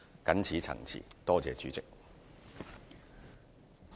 謹此陳辭，多謝代理主席。